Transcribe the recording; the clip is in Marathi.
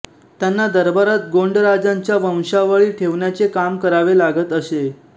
त्यांना दरबारात गोंडराजांच्या वंशावळी ठेवण्याचे काम करावे लागत असे